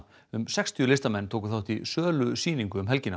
um sextíu listamenn tóku þátt í sölusýningu um helgina